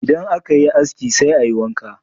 Idan aka yi aski sai a yi wanka.